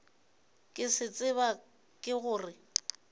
ke se tseba ke gore